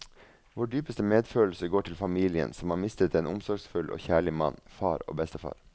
Vår dypeste medfølelse går til familien, som har mistet en omsorgsfull og kjærlig mann, far og bestefar.